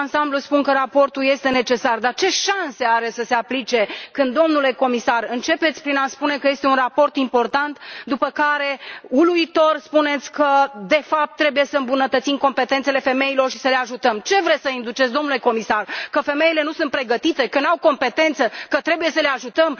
Eu, în ansamblu, spun că raportul este necesar, dar ce șanse are să se aplice când, domnule comisar, începeți prin a spune că este un raport important, după care, uluitor, spuneți că, de fapt, trebuie să îmbunătățim competențele femeilor și să le ajutăm? Ce vreți să induceți, domnule comisar, ideea că femeile nu sunt pregătite, că nu au competență, că trebuie să le ajutăm?